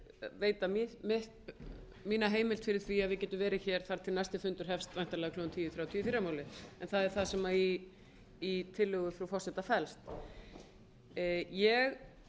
veita mína heimild fyrir því að við getum verið hér þar til næsti fundur hefst væntanlega klukkan tíu þrjátíu í fyrramálið en það er það sem í tillögu frú forseta felst ég